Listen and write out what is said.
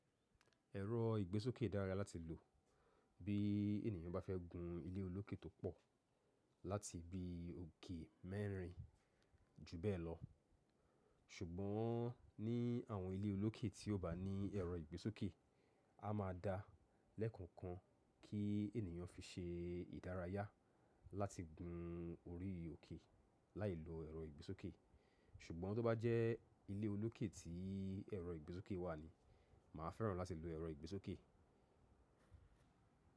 Ẹ̀rọ ìgbésókè dára láti lò bí ènìyàn bá fẹ́ gun ilé olókè tó pọ̀ láti bi òkè mẹ́rin ju bẹ́ẹ̀ lọ. Ṣùgbọ́n ní àwọn ilé olókè tí kò bá ní ẹ̀rọ ìgbésókè, a máa da lẹ́ẹ̀kan kan kí ènìyàn fi ṣe ìdárayá láti gun orí òkè láì lo ẹ̀rọ ìgbésókè. Ṣùgbọ́n tó bá jẹ́ ilé olókè tí ẹ̀rọ ìgbésókè wà ni, màá fẹ́ràn láti lo ẹ̀rọ ìgbésókè.